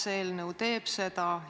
Kas see eelnõu käsitleb seda?